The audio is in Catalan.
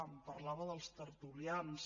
em parlava dels tertulians